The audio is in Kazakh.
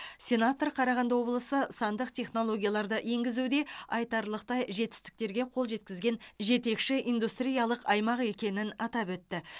сенатор қарағанды облысы сандық технологияларды енгізуде айтарлықтай жетістіктерге қол жеткізген жетекші индустриялық аймақ екенін атап өтті